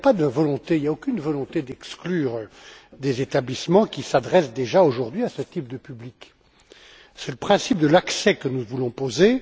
Il n'y a aucune volonté d'exclure des établissements qui s'adressent déjà aujourd'hui à ce type de public. C'est le principe de l'accès que nous voulons poser.